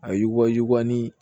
A yugubali